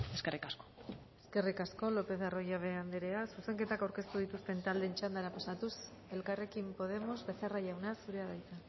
eskerrik asko eskerrik asko lopez de arroyabe andrea zuzenketak aurkeztu dituzten taldeen txandara pasatuz elkarrekin podemos becerra jauna zurea da hitza